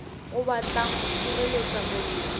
o batlang ho sireletsa mollo